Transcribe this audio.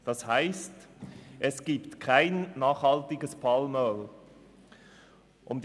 Das heisst, dass es kein nachhaltiges Palmöl gibt.